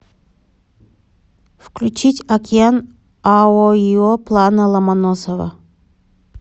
включить океан аоио плана ломоносова